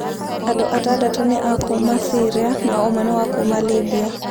Andũ atandatũ nĩ a kuuma Syria na ũmwe nĩ wa kuuma Libya.